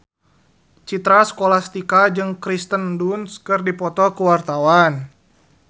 Citra Scholastika jeung Kirsten Dunst keur dipoto ku wartawan